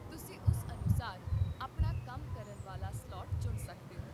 ਤੁਸੀਂ ਉਸ ਅਨੁਸਾਰ ਆਪਣਾ ਕੰਮ ਕਰਨ ਵਾਲਾ ਸਲਾਟ ਚੁਣ ਸਕਦੇ ਹੋ